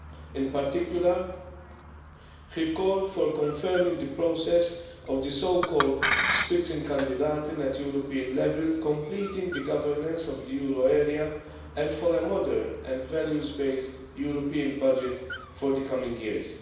In particular, he called for confirming the process of the so called at European level, completing the governance of the euro area, and for a modern and values based European budget for the coming years.